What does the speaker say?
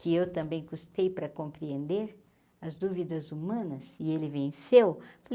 que eu também custei para compreender as dúvidas humanas, e ele venceu.